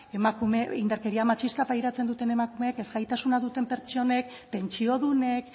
indarkeria matxista pairatzen duten emakumeek ez gaitasuna duten pertsonek pentsiodunek